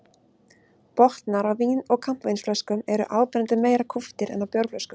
Botnar á vín- og kampavínsflöskum eru áberandi meira kúptir en á bjórflöskum.